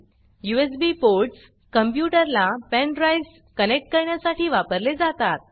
USB ports कॉम्प्यूटरला pen drives connect करण्यासाठी वापरले जातात